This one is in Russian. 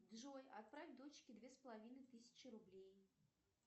джой отправь дочке две с половиной тысячи рублей